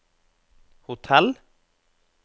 hotell